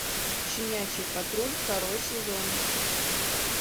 щенячий патруль второй сезон